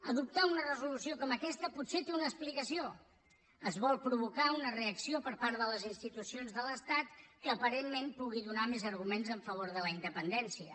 adoptar una resolució com aquesta potser té una explicació es vol provocar una reacció per part de les institucions de l’estat que aparentment pugui donar més arguments en favor de la independència